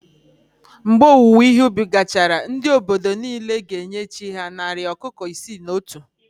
Mgbe owuwe ihe ubi gachara, ndị obodo niile ga-enye chí ha narị ọkụkọ isii na otu